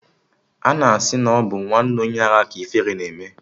Ana asị na ọ bụ nwanne onye ara ka ifere na-eme